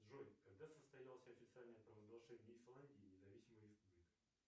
джой когда состоялось официальное провозглашение исландии независимой республикой